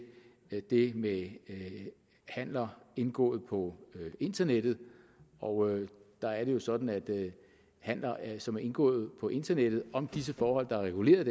det med handler indgået på internettet og der er det jo sådan at handler som er indgået på internettet om disse forhold der er reguleret